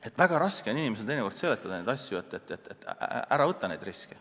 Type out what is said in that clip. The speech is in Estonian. Aga väga raske on inimesele teinekord seletada neid asju ja hoiatada, et ära võta neid riske.